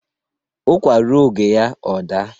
ụkwa rụọ oge ya ọ daa